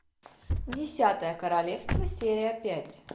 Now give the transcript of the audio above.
десятое королевство серия пять